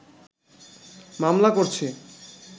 মামলা করছে